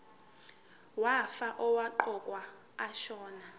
wefa owaqokwa ashona